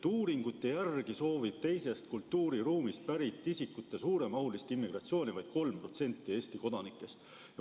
Uuringute järgi soovib teisest kultuuriruumist pärit isikute suuremahulist immigratsiooni vaid 3% Eesti kodanikest.